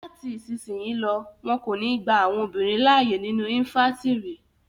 Lati isisiyi lọ, wọn yo ni gba àwọn obinrin laaye ninu infàntiri